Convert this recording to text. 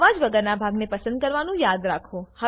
અવાજ વગરનાં ભાગને પસંદ કરવાનું યાદ રાખો